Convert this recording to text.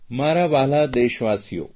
મારા વ્હાલા દેશવાસીઓ